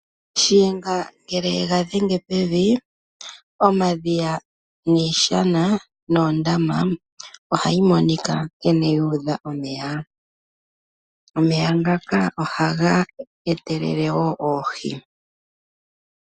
Shiyenga ngele e ga dhenge pevi omadhiya, iishana noondama ohayi monika nkene yu udha omeya. Omeya ngaka ohaga etelele wo oohi.